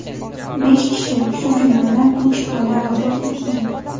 Besh kishi, shu jumladan uch bola vafot etgan.